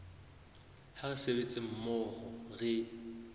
ha re sebetsa mmoho re